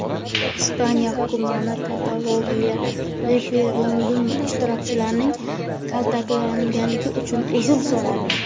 Ispaniya hukumati Kataloniyadagi referendum ishtirokchilari kaltaklangani uchun uzr so‘radi.